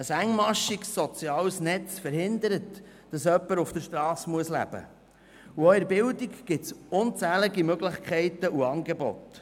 Ein engmaschiges soziales Netz verhindert, dass jemand auf der Strasse leben muss, und auch in der Bildung gibt es unzählige Möglichkeiten und Angebote.